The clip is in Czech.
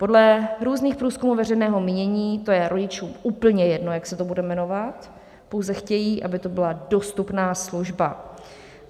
Podle různých průzkumů veřejného mínění to je rodičům úplně jedno, jak se to bude jmenovat, pouze chtějí, aby to byla dostupná služba.